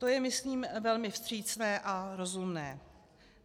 To je myslím velmi vstřícné a rozumné.